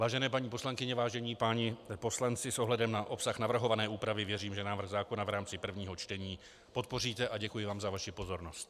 Vážené paní poslankyně, vážení páni poslanci, s ohledem na obsah navrhované úpravy věřím, že návrh zákona v rámci prvního čtení podpoříte, a děkuji vám za vaši pozornost.